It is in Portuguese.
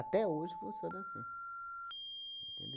hoje funciona assim.